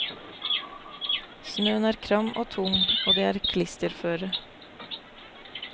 Snøen er kram og tung og det er klisterføre.